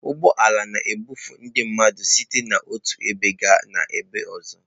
Ụgbọ ala na-ebufe ndị mmadụ site n'otu ebe gaa n'ọzọ.